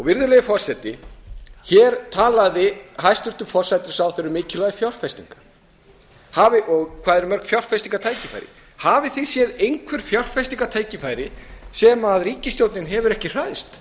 virðulegi forseti hér talaði hæstvirtur forsætisráðherra um mikilvægi fjárfestinga og hvað eru mörg fjárfestingartækifæri hafi þeir séð einhver fjárfestingartækifæri sem ríkisstjórnin hefur ekki